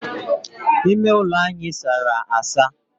Ime ulo anyi sara asa.